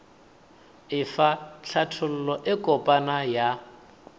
efa hlathollo e kopana ya